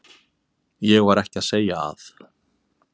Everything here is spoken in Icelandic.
Ég var ekki að segja að.